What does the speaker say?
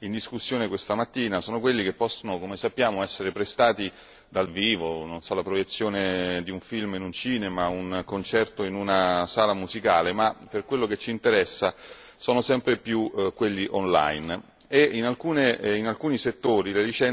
in discussione questa mattina sono quelli che possono, come sappiamo, essere prestati dal vivo non so, la proiezione di un film in un cinema, un concerto in una sala musicale ma per quello che ci interessa sono sempre più quelli online e in alcuni settori le licenze sono concesse